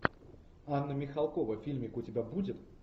анна михалкова фильмик у тебя будет